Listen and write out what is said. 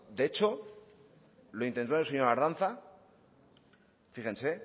de hecho lo intentó el señor ardanza fíjense